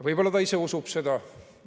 Võib-olla ta ise usub seda.